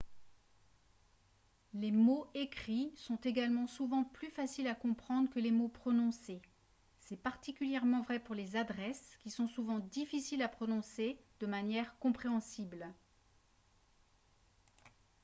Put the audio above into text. les mots écrits sont également souvent plus faciles à comprendre que les mots prononcés c'est particulièrement vrai pour les adresses qui sont souvent difficiles à prononcer de manière compréhensible